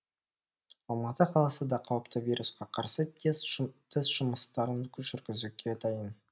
алматы қаласы да қауіпті вирусқа қарсы тест жұмыстарын жүргізуге дайын